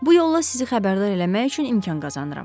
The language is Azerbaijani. Bu yolla sizi xəbərdar eləmək üçün imkan qazanıram.